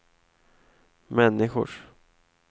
människors